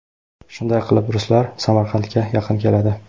Shunday qilib ruslar Samarqandga yaqin keladi.